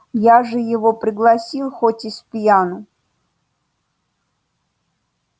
я же его пригласил хоть и спьяну